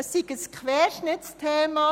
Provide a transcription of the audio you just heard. Es sei ein Querschnittsthema;